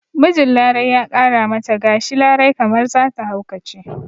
Mijin larai ya ƙara mata gashi larai kamar zata haukace